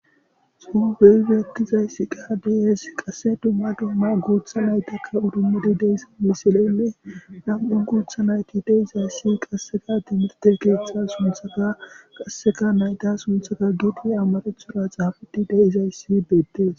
Xuufeyfietizayssi qaadiyes qasse dumma dumma guutha naytakka udummedi deys misilenne nam7un guutha nayti deizayssi qasseka timirte keeththa sunthaka qasseka nayta sunthaka giidi amarethura xaafudi deizayssi beettes.